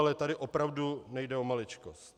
Ale tady opravdu nejde o maličkost.